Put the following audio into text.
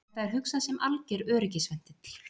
Þetta er hugsað sem alger öryggisventill